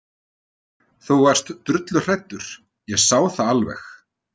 Þú varst drulluhræddur, ég sá það alveg.